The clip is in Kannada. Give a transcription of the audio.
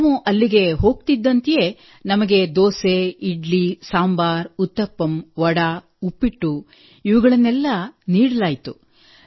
ನಾವು ಅಲ್ಲಿಗೆ ಹೋಗುತ್ತಿದ್ದಂತೆಯೇ ನಮಗೆ ದೋಸೆ ಇಡ್ಲಿ ಸಾಂಬಾರ್ ಉತ್ತಪ್ಪಮ್ ವಡಾ ಉಪ್ಪಿಟ್ಟು ಇವುಗಳನ್ನೆಲ್ಲಾ ನೀಡಲಾಯಿತು